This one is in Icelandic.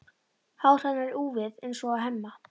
Hár hennar er úfið eins og á Hemma.